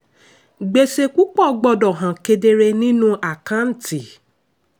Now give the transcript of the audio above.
gbèsè púpọ̀ gbọdọ̀ hàn kedere nínú àkántì.